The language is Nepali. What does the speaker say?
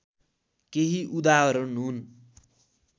केही उदाहरण हुन्